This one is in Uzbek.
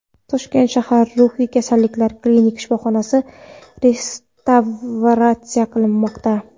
Toshkent shahar ruhiy kasalliklar klinik shifoxonasi restavratsiya qilinmoqda.